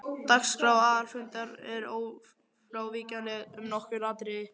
Dagskrá aðalfundar er ófrávíkjanleg um nokkur atriði.